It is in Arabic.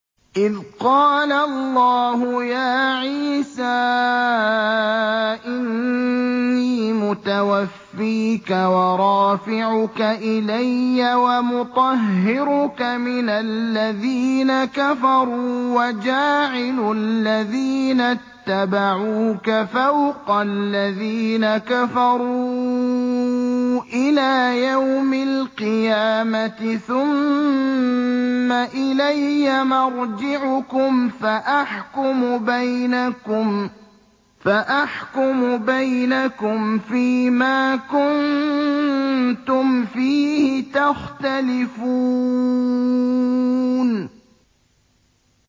إِذْ قَالَ اللَّهُ يَا عِيسَىٰ إِنِّي مُتَوَفِّيكَ وَرَافِعُكَ إِلَيَّ وَمُطَهِّرُكَ مِنَ الَّذِينَ كَفَرُوا وَجَاعِلُ الَّذِينَ اتَّبَعُوكَ فَوْقَ الَّذِينَ كَفَرُوا إِلَىٰ يَوْمِ الْقِيَامَةِ ۖ ثُمَّ إِلَيَّ مَرْجِعُكُمْ فَأَحْكُمُ بَيْنَكُمْ فِيمَا كُنتُمْ فِيهِ تَخْتَلِفُونَ